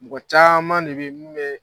Mɔgɔ caman de bɛ yen min bɛ